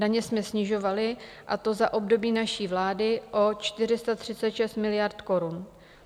Daně jsme snižovali, a to za období naší vlády o 436 miliard korun.